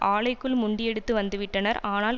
ஆலைக்குள் முண்டியடித்து வந்து விட்டனர் ஆனால்